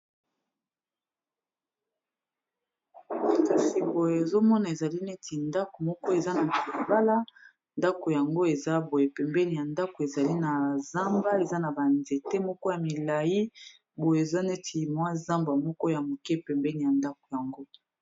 kasi boyo ezomona ezali neti ndako moko eza na piibala ndako yango eza boye pembeni ya ndako ezali na zamba eza na banzete moko ya milai boye eza neti mwa zamba moko ya moke pembeni ya ndako yango